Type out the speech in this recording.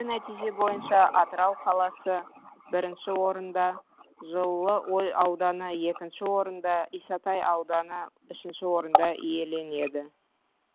бүгінгі нәтиже бойынша атырау қаласы бірінші орында жылыой ауданы екінші орында исатай ауданы үшінші орында иеленеді